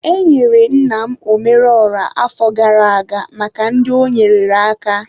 Enyere nna m omeruoha afọ gara aga maka ndị o nyeere aka.